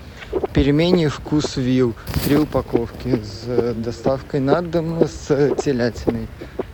пельмени вкусвилл три упаковки с доставкой на дом с телятиной